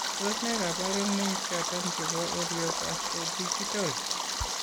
Tos nee kabarunaik choton nebo Orofaciodigital ?